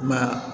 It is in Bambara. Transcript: Ma